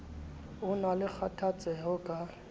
ho na le kgathatseho ka